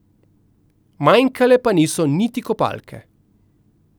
Manjkale pa niso niti kopalke.